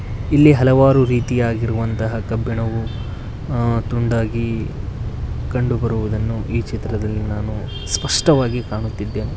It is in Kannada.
ಇಲ್ಲಿ ಹಲವಾರು ರೀತಿಯಾಗಿರುವಂತಹ ಕಬ್ಬಿಣವು ಅ- ತುಂಡಾಗಿ ಕಂಡುಬರುವುದನ್ನು ಈ ಚಿತ್ರದಲ್ಲಿ ನಾನು ಸ್ಪಷ್ಟವಾಗಿ ಕಾಣುತ್ತಿದ್ದೇನೆ.